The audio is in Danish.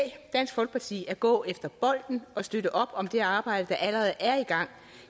dansk folkeparti at gå efter bolden og støtte op om det arbejde der allerede er i gang